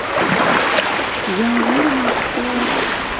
я уверена что